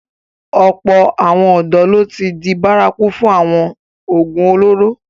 Ọ̀pọ̀ àwọn ọ̀dọ́ ló ti n di bárakú fún awọn oògùn olóró.